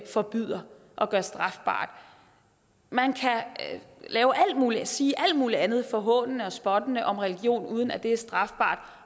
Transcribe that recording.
forbyder og gør strafbart man kan lave alt muligt og sige alt muligt andet forhånende og spottende om religion uden at det er strafbart